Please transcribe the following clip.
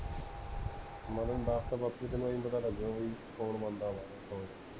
ਮੈਂ ਤੈਨੂੰ ਦਸ ਤਾ ਬਾਪੂ ਤੈਨੂੰ ਐਵੀਂ ਪਤਾ ਕਰ ਲੱਗਾ ਬਈ ਕੌਣ ਬਣਦਾ ਬਾਲਾ